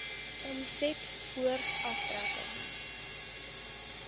omset voor aftrekkings